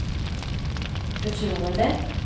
förtroende